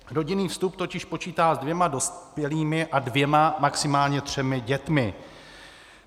Rodinný vstup totiž počítá s dvěma dospělými a dvěma, maximálně třemi dětmi.